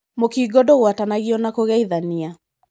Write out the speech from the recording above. Mũkingo dûgwatanagio na kũgeithania.